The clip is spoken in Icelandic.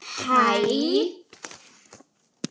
Hann stígur ekki fæti inn á pósthúsið framar